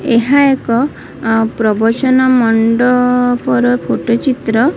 ଏହା ଏକ ଅଁ ପ୍ରବଚନ ମଣ୍ଡପର ଫୋଟ ଚିତ୍ର।